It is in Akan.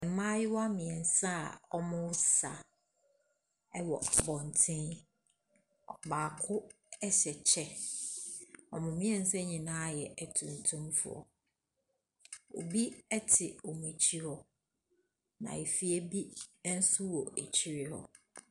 Mmayewa mmiensa a ɔmo sa ɛwɔ abɔnten. Ɔbaako ɛhyɛ kyɛ. Ɔmo mmiensa nyinaa yɛ ɛtumtum foɔ. Obi ɛte ɔmo akyi hɔ. Na afie bi nso ɛwɔ akyi hɔ.